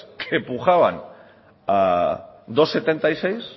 que pujaban a dos coma setenta y seis